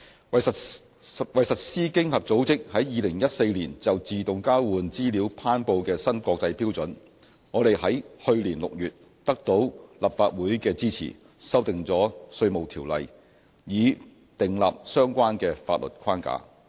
為實施經合組織在2014年就自動交換資料頒布的新國際標準，我們在去年6月得到立法會的支持，修訂了《稅務條例》以訂立相關的法律框架。